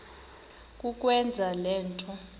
kukwenza le nto